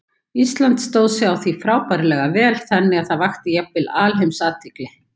Ísland stóð sig á því móti frábærlega vel, þannig að það vakti jafnvel alheimsathygli.